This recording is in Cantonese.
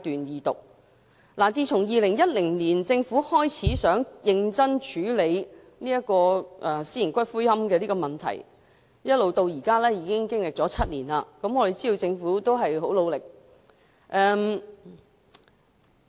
政府自2010年開始擬認真處理私營骨灰安置所的問題，至今已經7年，我們知道政府付出很大努力。